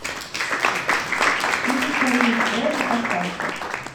фильм царевич проша поставь ка